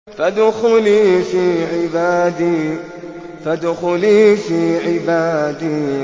فَادْخُلِي فِي عِبَادِي